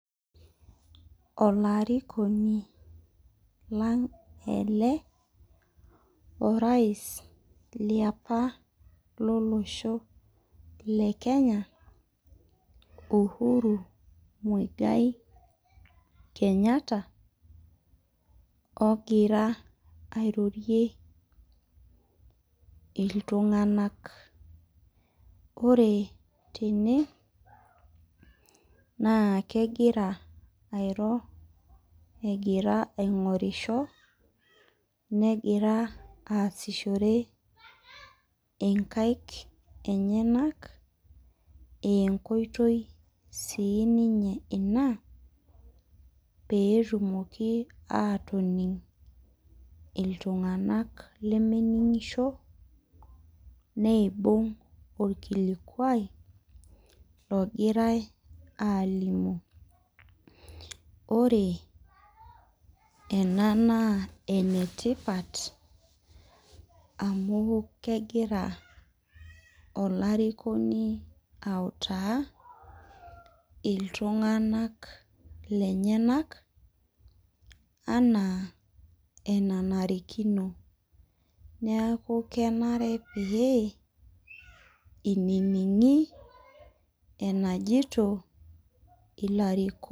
Olarikoni lang' ele orais liapa lolosho le Kenya, Uhuru Muigai Kenyatta ogira airdrie tung'anak, ore tene naa kegira airo egira aing'orisho negira aasishore nkaik enyenak aa enkoitoi sii ninye ina pee etumoki aatonig' iltung'anak lemening'isho niibung' orkilokuao ogorai aalimu Ore ena naa en etipat amu kegira olarikoni autaa oltung'anak lenyenak enaa enanarikino neeku kenare pee inining'i enajito ilarikok.